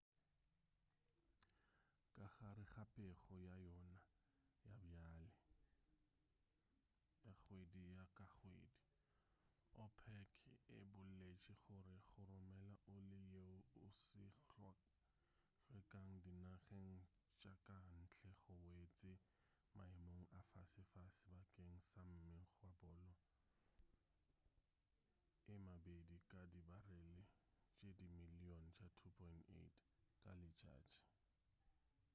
ka gare ga pego ya yona ya bjale ya kgwedi ka kgwedi opec e boletše gore go romela oli yeo e sa hlwekago dinageng tša ka ntle go wetše maemong a fasefase bakeng sa mengwagakgolo e mebedi ka dibarele tše dimiliyone tše 2.8 ka letšatši